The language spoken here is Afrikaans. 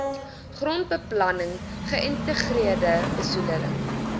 grondbeplanning geïntegreerde besoedeling